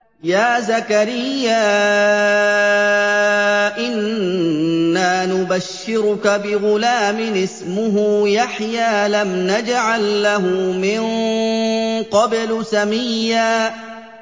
يَا زَكَرِيَّا إِنَّا نُبَشِّرُكَ بِغُلَامٍ اسْمُهُ يَحْيَىٰ لَمْ نَجْعَل لَّهُ مِن قَبْلُ سَمِيًّا